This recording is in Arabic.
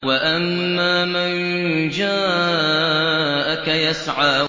وَأَمَّا مَن جَاءَكَ يَسْعَىٰ